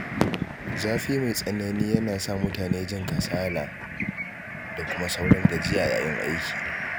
Zafi mai tsanani yana sa mutane jin kasala da kuma saurin gajiya yayin aiki.